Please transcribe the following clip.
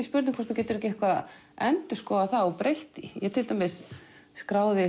spurning hvort þú getur eitthvað endurskoðað það og breytt því ég til dæmis skráði